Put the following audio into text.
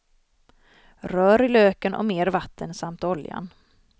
Rör i löken och mer vatten samt oljan.